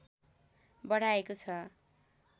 बढाएको छ